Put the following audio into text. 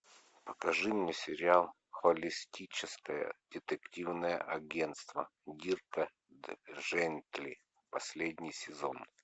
покажи мне сериал холистическое детективное агентство дирка джентли последний сезон